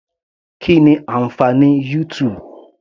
Kí ni ànfàní YouTube.